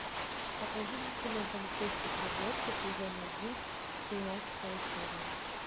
покажи мне кино полицейский с рублевки сезон один тринадцатая серия